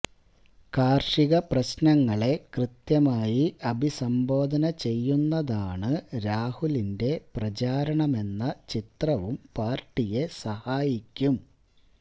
കര്ഷക പ്രശ്നങ്ങളെ കൃത്യമായി അഭിസംബോധന ചെയ്യുന്നതാണ് രാഹുലിന്റെ പ്രചാരണമെന്ന ചിത്രവും പാര്ട്ടിയെ സഹായിക്കും